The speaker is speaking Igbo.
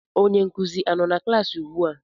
Onye nkuzi a-nọ na klaasị ugbua?